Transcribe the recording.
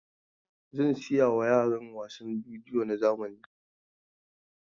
Zan saya wa yaran wasan bidiyo na zamani.